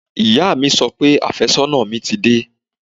Ìyá mi sọ pé àfẹ́sọ́nà mi ti dé